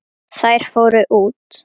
Þær fóru út.